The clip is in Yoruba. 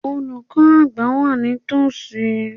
Olùkọ́ àgbà wà ní tòsí.